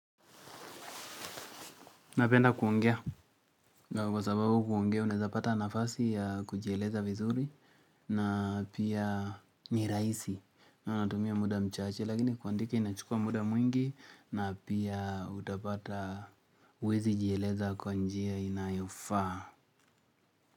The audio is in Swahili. Napenda kuongea, kwa sababu kuongea, unaeza pata nafasi ya kujieleza vizuri, na pia ni rahisi, na tumia muda mchache, lakini kuandika inachukua muda mwingi, na pia utapata huwezi jieleza kwa njia inayofaa.